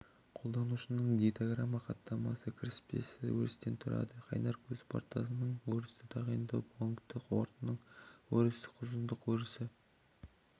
қолданушының дейтограмма хаттамасы кіріспесі өрістен тұрады қайнар көз портының өрісі тағайындау пункті портының өрісі ұзындық өрісі